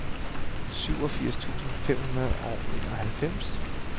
syvogfirs tusind fem hundrede og enoghalvfems